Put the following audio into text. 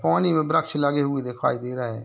पानी में ब्रक्ष लगे हुए दिखाई दे रहे हैं।